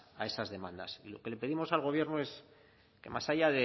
a esas demandas y lo que le pedimos al gobierno es que más allá